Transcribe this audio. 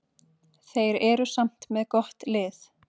Þeir eru samt með gott lið.